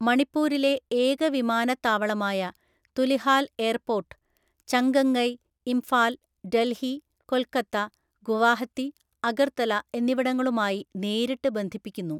മണിപ്പൂരിലെ ഏക വിമാനത്താവളമായ തുലിഹാൽ എയർപോർട്ട്, ചംഗംഗൈ, ഇംഫാൽ, ഡൽഹി, കൊൽക്കത്ത, ഗുവാഹത്തി, അഗർത്തല എന്നിവിടങ്ങളുമായി നേരിട്ട് ബന്ധിപ്പിക്കുന്നു.